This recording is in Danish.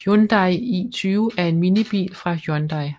Hyundai i20 er en minibil fra Hyundai